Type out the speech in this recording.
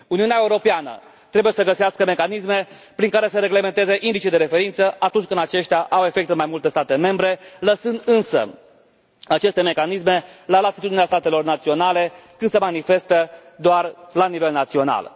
Uniunea Europeană trebuie să găsească mecanisme prin care să reglementeze indicii de referință atunci când aceștia au efect în mai multe state membre, lăsând însă aceste mecanisme la latitudinea statelor naționale, când se manifestă doar la nivel național.